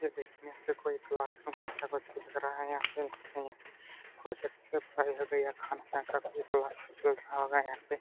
ये देखने से से कोई क्लासरूम समझ के कर रहा है यहां पे। लगता है यहां पे प्रोजेक्ट से पढ़ाई होगी खान सर का कोई क्लास चल रहा होगा यहां पे।